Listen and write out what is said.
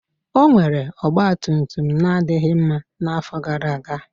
O nwere ọgbatumtum na-adịghị mma n'afọ gara aga